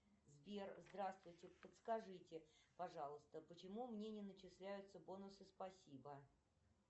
сбер здравствуйте подскажите пожалуйста почему мне не начисляются бонусы спасибо